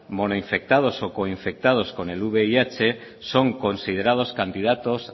monoinfectados o coinfectados con el vih son considerados candidatos